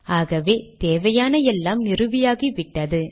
ஆகவே தேவையான எல்லாம் நிறுவியாகிவிட்டது